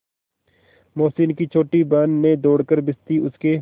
मोहसिन की छोटी बहन ने दौड़कर भिश्ती उसके